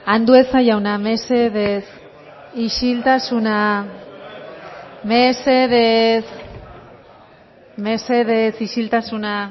andueza jauna mesedez isiltasuna mesedez mesedez isiltasuna